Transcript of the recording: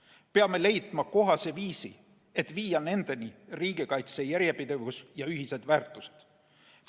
Me peame leidma kohase viisi, et viia nendeni riigikaitse järjepidevus ja ühised väärtushinnangud.